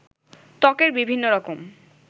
ত্বকের বিভিন্ন রকম